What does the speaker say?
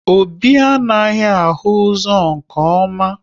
Obi anaghị ahụ ụzọ nke ọma